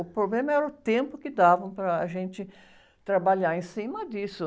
O problema era o tempo que davam para a gente trabalhar em cima disso.